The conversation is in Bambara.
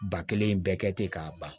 Ba kelen in bɛɛ kɛ ten k'a ban